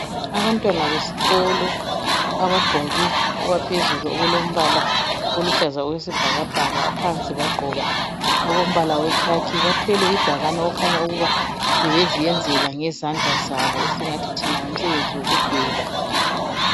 Abantwana besikolo abagqoke okwaphezulu okulombala oluhlaza okwesibhakabhaka phansi bagqoka olombala wekhakhi , bathwele ibhakane okukhanya ukuba bebeziyenzela ngezandla zabo esingathinthina ngumsebenzi wokudweba